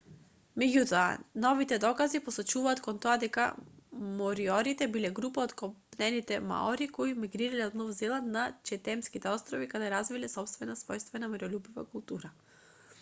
меѓутоа новите докази посочуваат кон тоа дека мориорите биле група од копнените маори кои мигрирале од нов зеланд на четемските острови каде развиле сопствена својствена мирољубива култура